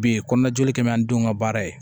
Bi kɔnɔnjɔ kɛmi an denw ka baara ye